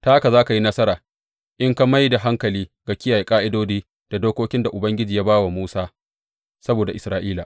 Ta haka za ka yi nasara in ka mai da hankali ga kiyaye ƙa’idodi da dokokin da Ubangiji ya ba wa Musa saboda Isra’ila.